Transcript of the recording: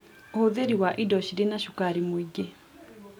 Ũhũthĩri wa indo cirĩ na cukari mũingĩ